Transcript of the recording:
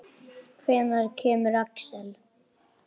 Hvenær kemur Axel?